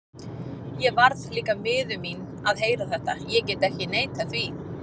Ég varð líka miður mín að heyra þetta, ég get ekki neitað því.